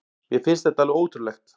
Mér finnst þetta alveg ótrúlegt